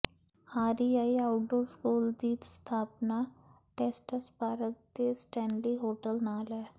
REI outdoor school ਦੀ ਸਥਾਪਨਾ Estes Park ਦੇ ਸਟੈਨਲੀ ਹੋਟਲ ਨਾਲ ਹੈ